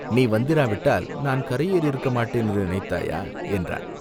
நீ வந்திராவிட்டால் நான் கரையேறி இருக்க மாட்டேன் என்று நினைத்தாயோ?" என்றான்.